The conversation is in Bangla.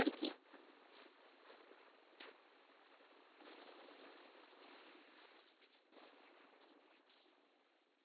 ঘুরতে যাই আর কি।